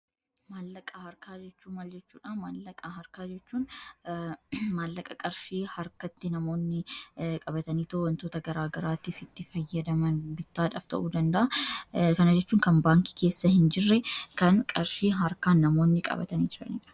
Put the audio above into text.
Malaqaa harka jechun mal jechudha maallaqa harkaa haa mallaqa qarshii harkatti namoonni qabatanii wantoota garaagaraatiifi itti fayyadama bitaadhaf ta'uu danda'a kanaa jechuun kan baankii keessa hin jirre kana qarshii harkaan namoonni qabatanii jirandha.